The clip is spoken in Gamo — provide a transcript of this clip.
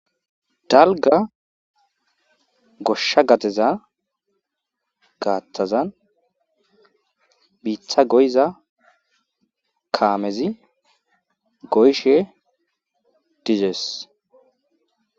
Dalgga gosha gadeza watazan biita goyiza kaamezi goyishe dizees.